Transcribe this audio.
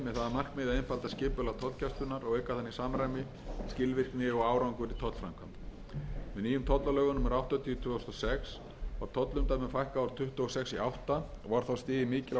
að einfalda skipulag tollgæslunnar og auka þannig samræmi skilvirkni og árangur í tollframkvæmd með nýjum tollalögum númer áttatíu tvö þúsund og sex var tollumdæmum fækkað úr tuttugu og sex í átta og var þá stigið mikilvægt skref í átt til einföldunar